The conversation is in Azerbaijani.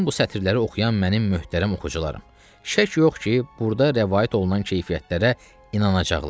Çün bu sətirləri oxuyan mənim möhtərəm oxucularım, şək yox ki, burada rəvayət olunan keyfiyyətlərə inanacaqlar.